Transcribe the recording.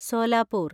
Solapur